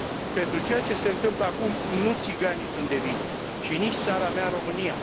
Pentru ceea ce se întâmplă acum, nu țiganii sunt de vină și nici țara mea, România.